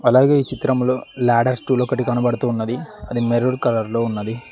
అలాగే ఈ చిత్రంలో లాడర్ టూల్ ఒకటి కనబడుతున్నది అది మెరూన్ కలర్ లో ఉన్నది.